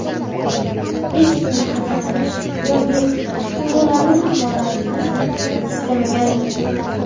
Hech kimni xafa qilish yoki tuyg‘ularini haqoratlashni istmagandim.